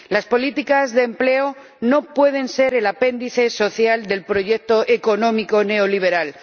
Las políticas de empleo no pueden ser el apéndice social del proyecto económico neoliberal.